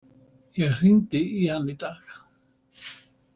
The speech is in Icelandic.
Ég hringdi í hann í dag.